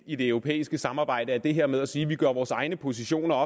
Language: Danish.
i det europæiske samarbejde er det her med at sige at vi gør vores egne positioner